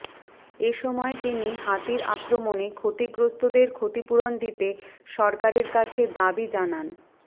এ সময় তিনি হাতির আক্রমনে ক্ষতিগ্রস্তদের ক্ষতিপূরণ দিতে সরকারের কাছে দাবি জানান